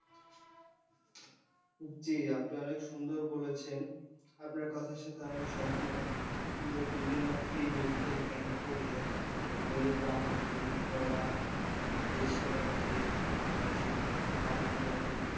জি আপনি অনেক সুন্দর বলেছেন, আপনার কথার সঙ্গে আমি সহমত যে বিভিন্ন free medical camp করলে গরিবরা, হত দরিদ্ররা এই সেবাটা পেয়ে থাকবে বা এই সেবাটা পাবে বলে আপনি,